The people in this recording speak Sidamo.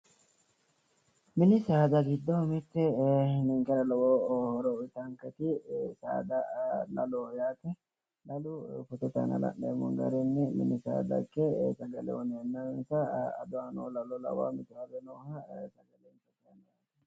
Mini saada giddo mitte, ninkera lowo horo uuyitaanketi saada laloho yaate. Lalu fotote aana la'neemmo garinni mini saada ikke ado aanno lalo lawanno.